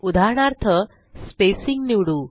उदाहरणार्थ स्पेसिंग निवडू